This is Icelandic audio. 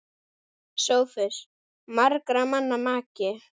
SOPHUS: Margra manna maki!